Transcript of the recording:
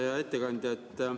Hea ettekandja!